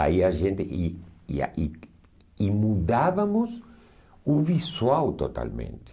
Aí a gente... E e a e e mudávamos o visual totalmente.